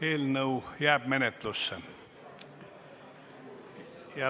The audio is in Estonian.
Eelnõu jääb menetlusse.